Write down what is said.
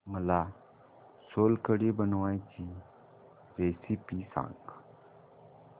मला सोलकढी बनवायची रेसिपी सांग